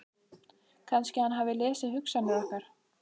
Kannski að hann hafi lesið hugsanir okkar.